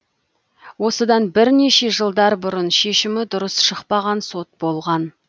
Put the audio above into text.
осыдан бірнеше жылдар бұрын шешімі дұрыс шықпаған сот болған